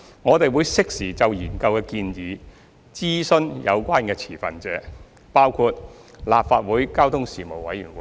我們會適時就研究的建議諮詢有關持份者，包括立法會交通事務委員會。